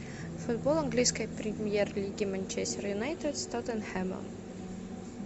футбол английской премьер лиги манчестер юнайтед с тоттенхэмом